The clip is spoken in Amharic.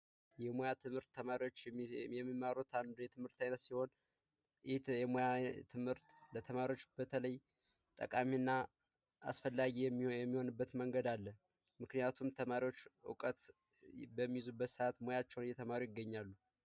የሙያ ትምህርት ተማሪዎች የሚማሩት አንዱ የትምህርት አይነት ሲሆን ይህ የሙያ ትምህርት ለተማሪዎች በተለይ ጠቃሚ እና አስፈላጊ የሚሆንበት መንገድ አለ። ምክንያቱም ተማሪዎች እውቀት በሚይዙበት ሰአት ሙያቸውን እየያዙ ይገኛሉ።